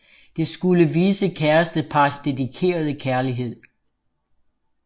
Dette skulle vise kærestepars dedikerede kærlighed